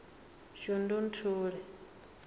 shundunthule